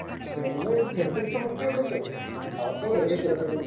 വെറുതെ മൊക്കെ ഉണ്ടല്ലോ അവർക്കും കളിക്കണ്ടേ?